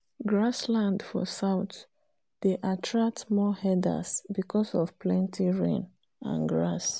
grass land for south dey attract more herders because of planty rain and grass.